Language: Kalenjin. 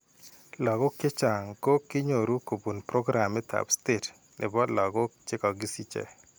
Lakok chechang' ko kinyoru kobun programitab state ne po lagook che kakisiche.